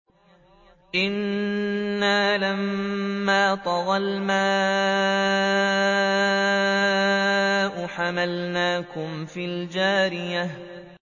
إِنَّا لَمَّا طَغَى الْمَاءُ حَمَلْنَاكُمْ فِي الْجَارِيَةِ